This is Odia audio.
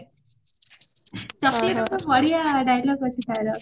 chocolateରେ ଗୋଟେ ବଢିଆ dialogue ଅଛି ତାର